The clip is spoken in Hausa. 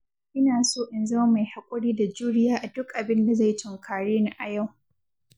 Ina so in zama mai haƙuri da juriya a duk abinda zai tunkare ni a yau.